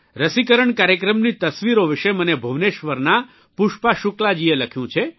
રસીકરણ કાર્યક્રમની તસવીરો વિષે મને ભૂવનેશ્વરનાં પુષ્પા શુકલાજીએ લખ્યું છે